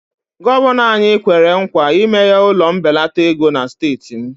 Gọvanọ anyị kwere nkwa imeghe ụlọ mbelata ego na steeti m